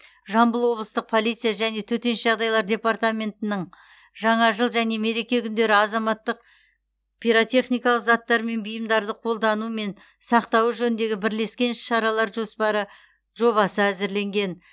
жамбыл облыстық полиция және төтенше жағдайлар департаментінің жаңа жыл және мереке күндері азаматтық пиротехникалық заттар мен бұйымдарды қолдану мен сақтауы жөніндегі бірлескен іс шаралар жоспары жобасы әзірленген